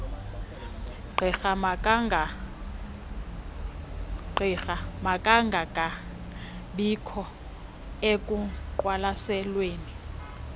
gqirha makangangabikho ekuqwalaselweni